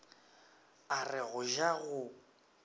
a re go ja go